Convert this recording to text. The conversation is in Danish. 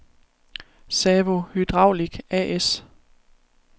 Sawo Hydraulic A/S